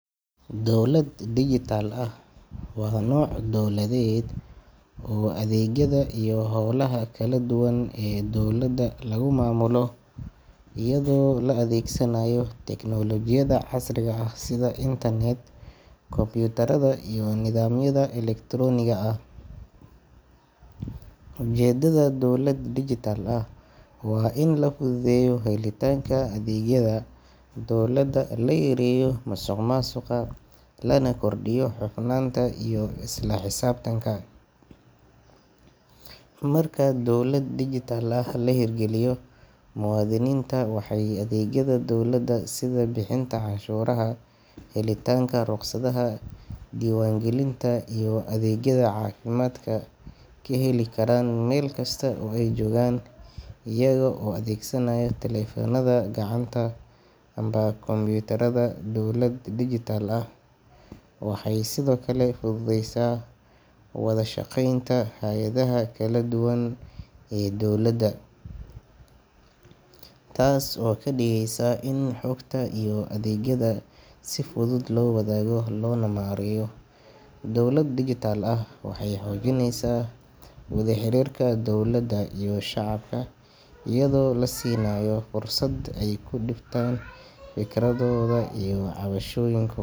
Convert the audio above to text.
Dowlad digital ah waa nooc dowladeed oo adeegyada iyo hawlaha kala duwan ee dowladda lagu maamulo iyadoo la adeegsanayo tiknoolojiyadda casriga ah sida internet, kombiyuutarada, iyo nidaamyada elektarooniga ah. Ujeeddada dowlad digital ah waa in la fududeeyo helitaanka adeegyada dowladda, la yareeyo musuqmaasuqa, lana kordhiyo hufnaanta iyo isla xisaabtanka. Marka dowlad digital ah la hirgeliyo, muwaadiniinta waxay adeegyada dowladda sida bixinta canshuuraha, helitaanka rukhsadaha, diiwaangelinta, iyo adeegyada caafimaadka ka heli karaan meel kasta oo ay joogaan iyaga oo adeegsanaya taleefannada gacanta ama kombiyuutarada. Dowlad digital ah waxay sidoo kale fududeysaa wada shaqeynta hay’adaha kala duwan ee dowladda, taas oo ka dhigaysa in xogta iyo adeegyada si fudud loo wadaago loona maareeyo. Dowlad digital ah waxay xoojinaysaa wada xiriirka dowladda iyo shacabka iyadoo la siinayo fursad ay ku dhiibtaan fikradahooda iyo cabashooyin.